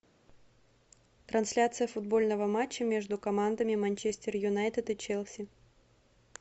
трансляция футбольного матча между командами манчестер юнайтед и челси